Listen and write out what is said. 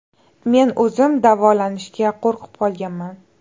Men o‘zim davolanishga qo‘rqib qolganman.